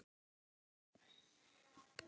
Þú þarft ekki að koma nálægt þessu sjálfur.